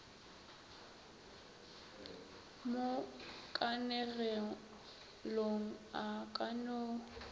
mo kanegelong a ka no